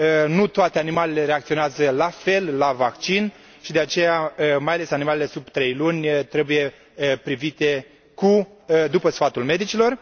Nu toate animalele reacționează la fel la vaccin și, de aceea, mai ales animalele sub trei luni trebuie tratate după sfatul medicilor.